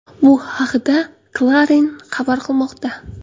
Bu haqda Clarin xabar qilmoqda .